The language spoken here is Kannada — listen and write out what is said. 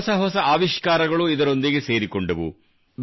ಹೊಸ ಹೊಸ ಆವಿಷ್ಕಾರಗಳೂ ಇದರೊಂದಿಗೆ ಸೇರಿಕೊಂಡವು